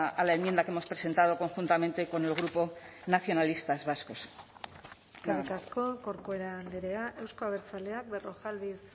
a la enmienda que hemos presentado conjuntamente con el grupo nacionalistas vascos eskerrik asko corcuera andrea euzko abertzaleak berrojalbiz